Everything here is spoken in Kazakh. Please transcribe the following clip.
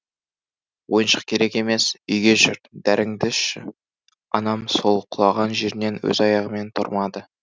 ойыншық керек емес үйге жүр дәріңді ішші анам сол құлаған жерінен өз аяғымен тұрмады